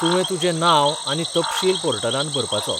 तुवें तुजें नांव आनी तपशील पोर्टलांत भरपाचो.